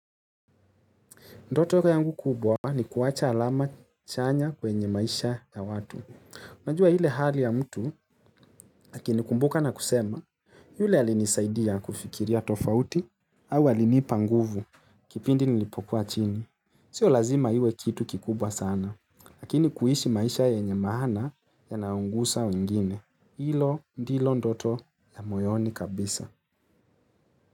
Ndoto yangu kubwa ni kuwacha alama chanya kwenye maisha ya watu. Unajua ile hali ya mtu lakini kumbuka na kusema yule alinisaidia kufikiria tofauti au alinipa nguvu kipindi nilipokuwa chini. Sio lazima iwe kitu kikubwa sana lakini kuishi maisha yenye maana yanayogusa wengine. Hilo ndilo ndoto ya moyoni kabisa.